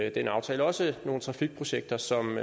i den aftale også nogle trafikprojekter som